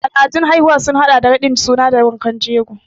Al'adun haihuwa sun haɗa da raɗin suna da wankan jego.